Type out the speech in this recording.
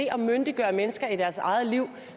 at myndiggøre mennesker i deres eget liv